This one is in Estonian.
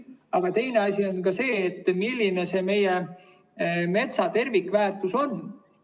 Aga teine asi on ka see, milline see meie metsa tervikväärtus on.